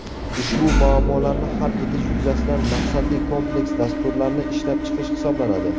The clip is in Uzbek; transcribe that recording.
ushbu muammolarni hal etish yuzasidan maqsadli kompleks dasturlarni ishlab chiqish hisoblanadi.